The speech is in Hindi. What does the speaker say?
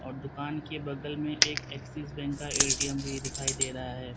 दुकान के बगल में एक एक्सिस बैंक का ए_टी_एम भी दिखाई दे रहा है।